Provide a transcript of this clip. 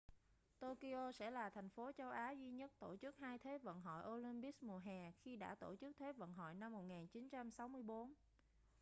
tokyo sẽ là thành phố châu á duy nhất tổ chức hai thế vận hội olympics mùa hè khi đã tổ chức thế vận hội năm 1964